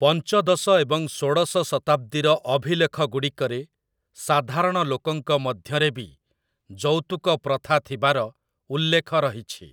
ପଞ୍ଚଦଶ ଏବଂ ଷୋଡ଼ଶ ଶତାବ୍ଦୀର ଅଭିଲେଖଗୁଡ଼ିକରେ ସାଧାରଣ ଲୋକଙ୍କ ମଧ୍ୟରେ ବି ଯୌତୁକ ପ୍ରଥା ଥିବାର ଉଲ୍ଲେଖ ରହିଛି ।